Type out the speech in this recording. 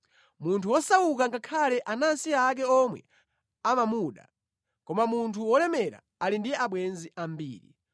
Munthu wosauka ngakhale anansi ake omwe amamuda, koma munthu wolemera ali ndi abwenzi ambiri.